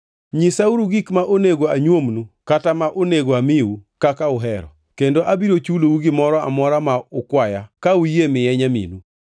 Nyisauru gik ma onego anyuomnu kata ma onego amiu kaka uhero, kendo abiro chulou gimoro amora ma ukwaya ka uyie miye nyaminu.